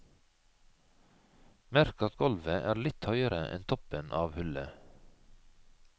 Merk at golvet er litt høyere enn toppen av hullet.